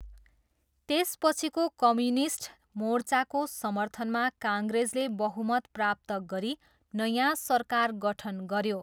त्यसपछिको कम्युनिस्ट मोर्चाको समर्थनमा काङ्ग्रेसले बहुमत प्राप्त गरी नयाँ सरकार गठन गऱ्यो।